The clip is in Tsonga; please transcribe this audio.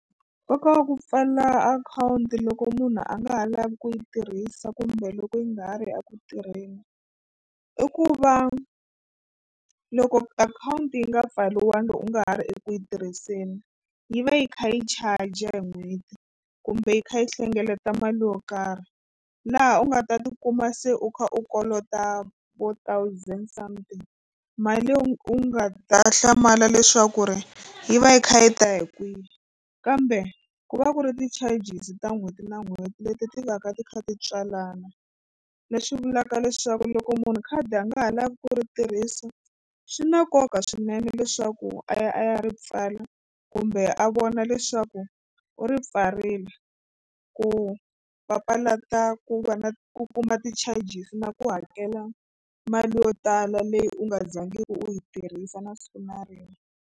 Nkoka wa ku pfala akhawunti loko munhu a nga ha lavi ku yi tirhisa kumbe loko yi nga ha ri eku tirheni i ku va loko akhawunti yi nga pfariwanga u nga ha ri eku yi tirhiseni yi va yi kha yi charger hi n'hweti kumbe yi kha yi hlengeleta mali yo karhi laha u nga ta tikuma se u kha u kolota vo thousand something mali u nga ta hlamala leswaku ri yi va yi kha yi ta hi kwihi kambe ku va ku ri ti-charges ta n'hweti na n'hweti leti ti va ka ti kha ti tswalana. Leswi vulaka leswaku loko munhu khadi a nga ha lavi ku ri tirhisa swi na nkoka swinene leswaku a ya a ya ri pfala kumbe a vona leswaku u ri pfarile ku papalata ku va na ku kuma ti-charges na ku hakela mali yo tala leyi u nga zangiku u yi tirhisa na siku na rin'we.